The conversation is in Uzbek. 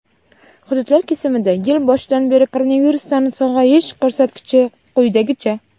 Hududlar kesimida yil boshidan beri koronavirusdan sog‘ayish ko‘rsatkichi quyidagicha:.